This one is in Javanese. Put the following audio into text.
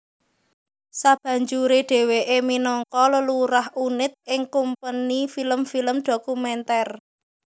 Sabanjuré dhèwèké minangka lelurah unit ing kumpeni film film dhokumèntèr